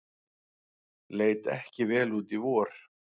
Leit ekki vel út í vor